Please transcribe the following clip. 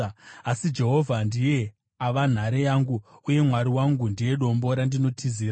Asi Jehovha ndiye ava nhare yangu, uye Mwari wangu ndiye dombo randinotizira.